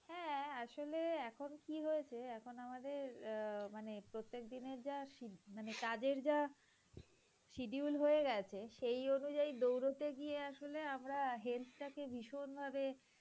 হ্যাঁ আসলে এখন কি হয়েছে এখন আমাদের অ্যাঁ মানে প্রতেক দিনের যা sched~ কাজের যা schedule হয়ে গেছে সেই অনুযায়ী দৌড়াতে গিয়ে আসলে আমরা অ্যাঁ health টাকে ভীষণভাবে